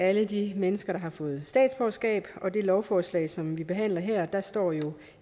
alle de mennesker der har fået statsborgerskab og på det lovforslag som vi behandler her står jo